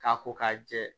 K'a ko k'a jɛ